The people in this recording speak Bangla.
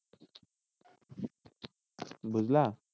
বুঝলা?